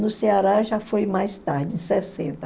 No Ceará já foi mais tarde, em sessenta.